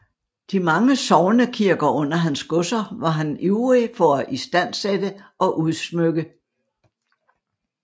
De mange sognekirker under hans godser var han ivrig for at istandsætte og udsmykke